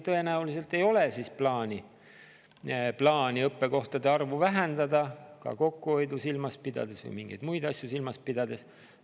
Tõenäoliselt ei ole siis plaanis õppekohtade arvu vähendada, ka kokkuhoidu või mingeid muid asju silmas pidades.